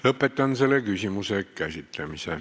Lõpetan selle küsimuse käsitlemise.